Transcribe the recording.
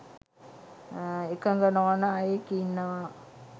එකග නොවන අයෙක් ඉන්නවා